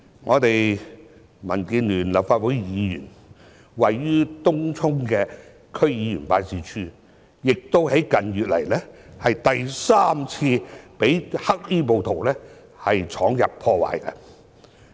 一位民建聯立法會議員位於東涌的區議員辦事處，近月亦第三次被黑衣暴徒闖入破壞。